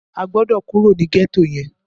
O gbọ́dọ̀ kúrò ní gẹ́tò yẹn!